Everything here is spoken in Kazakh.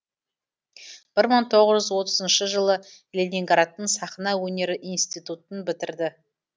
бір мың тоғыз жүз отызыншы жылы ленинградтың сахна өнері институтын бітірді